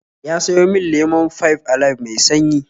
Ya sayo min lemon Five Alive mai sanyi